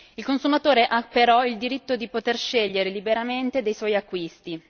Il consumatore ha però il diritto di poter scegliere liberamente dei suoi acquisti.